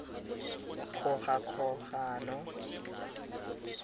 kgogakgogano